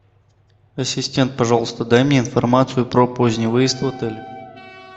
ассистент пожалуйста дай мне информацию про поздний выезд в отеле